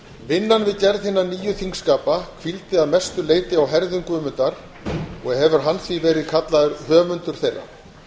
vinnan við gerð hinna nýju þingskapa hvíldi að mestu leyti á herðum guðmundar og hefur hann því verið kallaður höfundur þeirra